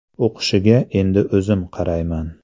O‘qishiga endi o‘zim qarayman.